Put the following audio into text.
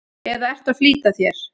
eða ertu að flýta þér?